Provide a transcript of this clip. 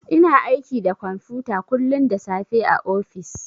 Ina aiki da kwamfuta kullun da safe a ofis.